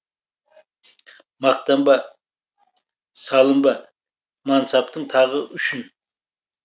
мақтанба салынба мансаптың тағы үшін